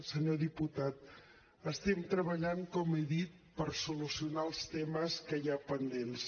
senyor diputat estem treballant com he dit per solucionar els temes que hi ha pendents